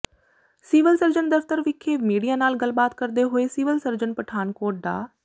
civil surgeon ਦਫਤਰ ਵਿਖੇ media ਨਾਲ ਗੱਲਬਾਤ ਕਰਦੇ ਹੋਏ ਸਿਵਲ ਸਰਜਨ ਪਠਾਨਕੋਟ ਡਾ